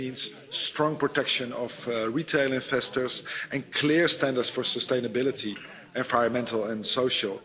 That means strong protection of retail investors and clear standards for sustainability, both environmental and social.